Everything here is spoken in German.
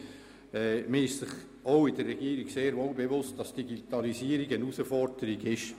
Man ist sich somit auch in der Regierung sehr wohl bewusst, dass die Digitalisierung eine Herausforderung ist.